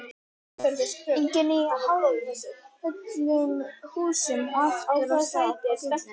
Enginn í hálfföllnum húsum og aftur af stað á fjöllin.